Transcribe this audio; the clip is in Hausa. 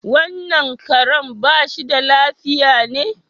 Wannan Karen bashi da lafiya ne?